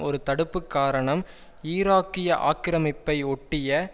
ஒரு தடுப்பு காரணம் ஈராக்கிய ஆக்கிரமிப்பை ஒட்டிய